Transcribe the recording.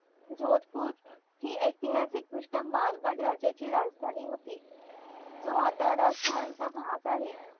जोतपूर ही ऐतिहासिक टृष्ट्या मारवाड राज्याची राजधानी होती तो आता राजस्थान चा भाग आहे